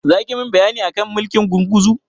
Zaki min bayani akan mulkin gurguzu?